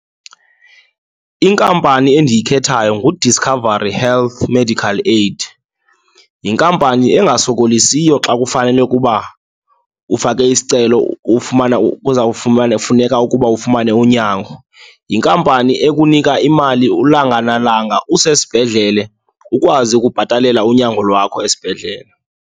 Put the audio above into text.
Inkampani endiyikhethayo nguDiscovery Health Medical Aid, yinkampani engasokolisiyo xa kufanele ukuba ufake isicelo ufmana, kufuneka ukuba ufumane unyango. Yinkampani ekunika imali ulanga nalanga usesibhedlele, ukwazi ukubhatalela unyango lwakho esibhedlele.